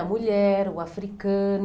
A mulher, o africano.